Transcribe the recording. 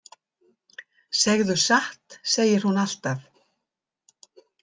Segðu satt, segir hún alltaf.